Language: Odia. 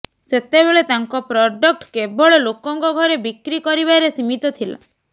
ସେତେବେଳେ ତାଙ୍କ ପ୍ରଡକ୍ଟ କେବଳ ଲୋକଙ୍କ ଘରେ ବିକ୍ରୀ କରିବାରେ ସୀମିତ ଥିଲା